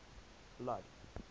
blood